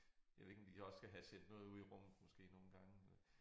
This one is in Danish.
Jeg ved ikke om de også skal have sendt noget ud i rummet måske nogle gange men